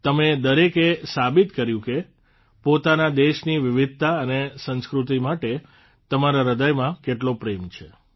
તમે દરેકે સાબિત કર્યું કે પોતાના દેશની વિવિધતા અને સંસ્કૃતિ માટે તમારા હૃદયમાં કેટલો પ્રેમ છે